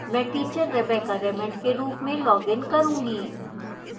मैं teacher rebecca raymond के रूप में login करूंगी